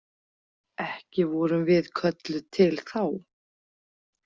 Ekki vorum við kölluð til þá.